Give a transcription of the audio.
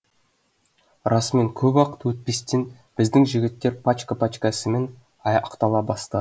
расымен көп уақыт өтпестен біздің жігіттер пачка пачкасымен ақтала бастады